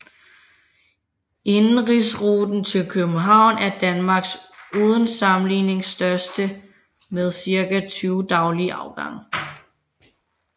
Indenrigsruten til København er Danmarks uden sammenligning største med cirka 20 daglige afgange